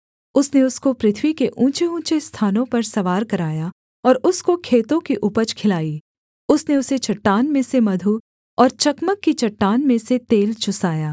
उसने उसको पृथ्वी के ऊँचेऊँचे स्थानों पर सवार कराया और उसको खेतों की उपज खिलाई उसने उसे चट्टान में से मधु और चकमक की चट्टान में से तेल चुसाया